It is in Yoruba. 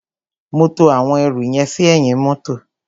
Mo to àwọn ẹrù yẹn sí ẹ̀yìn mọ́tọ̀.